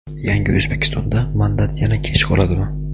"Yangi O‘zbekiston"da mandat yana kech qoladimi?.